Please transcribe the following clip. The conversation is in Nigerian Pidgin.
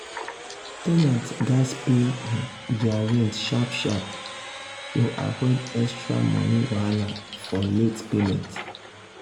ten ants gatz pay their rent sharp sharp to avoid extra money wahala for late payment.